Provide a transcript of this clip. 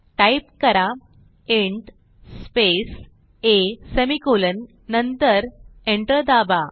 type करा int space a semicolon नंतर enter दाबा